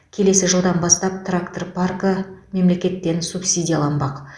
келесі жылдан бастап трактор паркі мемлекеттен субсидияланбақ